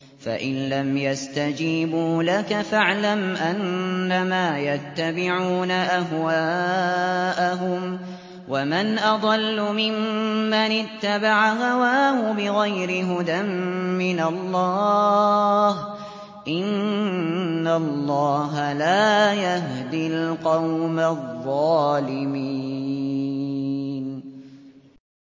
فَإِن لَّمْ يَسْتَجِيبُوا لَكَ فَاعْلَمْ أَنَّمَا يَتَّبِعُونَ أَهْوَاءَهُمْ ۚ وَمَنْ أَضَلُّ مِمَّنِ اتَّبَعَ هَوَاهُ بِغَيْرِ هُدًى مِّنَ اللَّهِ ۚ إِنَّ اللَّهَ لَا يَهْدِي الْقَوْمَ الظَّالِمِينَ